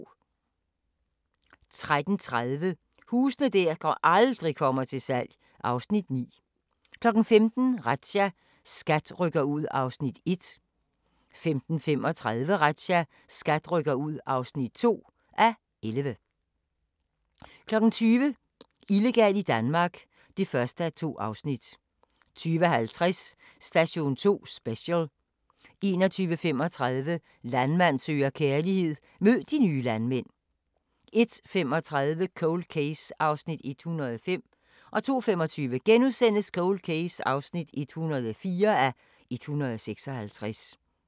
13:30: Huse der aldrig kommer til salg (Afs. 9) 15:00: Razzia - SKAT rykker ud (1:11) 15:35: Razzia - SKAT rykker ud (2:11) 20:00: Illegal i Danmark (1:2) 20:50: Station 2 Special 21:35: Landmand søger kærlighed - mød de nye landmænd 01:35: Cold Case (105:156) 02:25: Cold Case (104:156)*